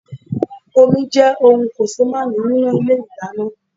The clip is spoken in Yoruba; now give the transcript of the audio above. Omi jẹ́ ohùn kòsémàání nínú Ilé ìdáná